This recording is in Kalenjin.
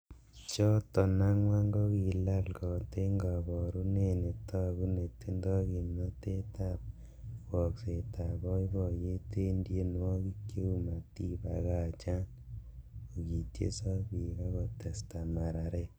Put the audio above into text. Choton ang'wan kokilal got en koborunet netogu netindo kimnotet ab woksetab boiboiyet en tienwogik cheu "Matibakachan'' kokitiesok bik ak kotesta mararet.